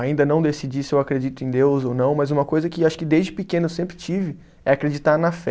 Ainda não decidi se eu acredito em Deus ou não, mas uma coisa que acho que desde pequeno eu sempre tive é acreditar na fé.